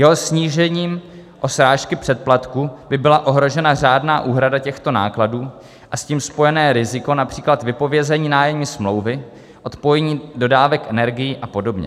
Jeho snížením o srážky přeplatků by byla ohrožena řádná úhrada těchto nákladů a s tím spojené riziko například vypovězení nájemní smlouvy, odpojení dodávek energií a podobně.